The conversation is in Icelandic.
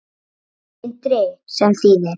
Sindri: Sem þýðir?